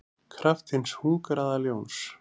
kraft hins hungraða ljóns.